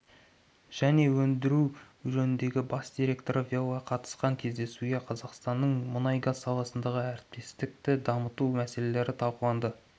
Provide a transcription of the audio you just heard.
және өндіру жөніндегі бас директоры велла қатысқан кездесуде қазақстанның мұнай-газ саласындағы әріптестікті дамыту мәселелері талқыланды